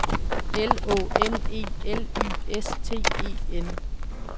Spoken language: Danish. L Å N E L Y S T E N